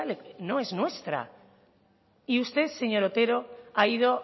no es nuestra y usted señor otero ha ido